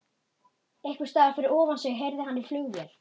Einhversstaðar fyrir ofan sig heyrði hann í flugvél.